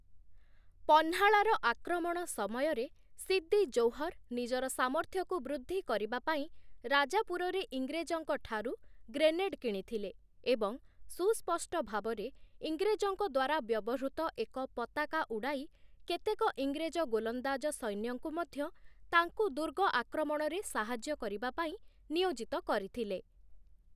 ପହ୍ନାଳାର ଆକ୍ରମଣ ସମୟରେ ସିଦ୍ଦି ଜୌହର୍ ନିଜର ସାମର୍ଥ୍ୟକୁ ବୃଦ୍ଧି କରିବା ପାଇଁ ରାଜାପୁରରେ ଇଂରେଜଙ୍କଠାରୁ ଗ୍ରେନେଡ଼୍ କିଣିଥିଲେ ଏବଂ ସୁସ୍ପଷ୍ଟ ଭାବରେ, ଇଂରେଜଙ୍କ ଦ୍ଵାରା ବ୍ୟବହୃତ ଏକ ପତାକା ଉଡ଼ାଇ, କେତେକ ଇଂରେଜ ଗୋଲନ୍ଦାଜ ସୈନ୍ୟଙ୍କୁ ମଧ୍ୟ ତାଙ୍କୁ ଦୁର୍ଗ ଆକ୍ରମଣରେ ସାହାଯ୍ୟ କରିବା ପାଇଁ ନିୟୋଜିତ କରିଥିଲେ ।